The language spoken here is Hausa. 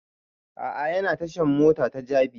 A'a yana tashan mota ta jabi